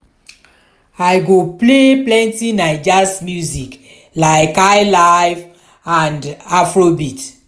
i go play plenty naija's music like highlife and afrobeat.